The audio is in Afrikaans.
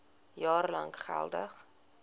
jaar lank geldig